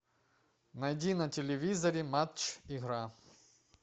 найди на телевизоре матч игра